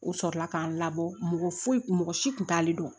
O sɔrɔla k'an labɔ mɔgɔ foyi mɔgɔ si tun t'ale dɔn